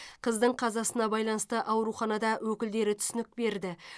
қыздың қазасына байланысты ауруханада өкілдері түсінік берді